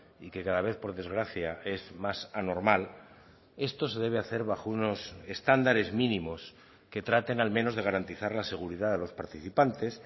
y que cada vez por desgracia es más anormal esto se debe hacer bajo unos estándares mínimos que traten al menos de garantizar la seguridad de los participantes